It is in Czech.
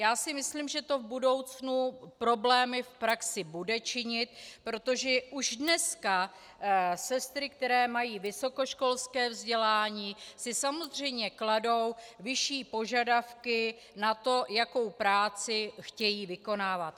Já si myslím, že to v budoucnu problémy v praxi bude činit, protože už dneska sestry, které mají vysokoškolské vzdělání, si samozřejmě kladou vyšší požadavky na to, jakou práci chtějí vykonávat.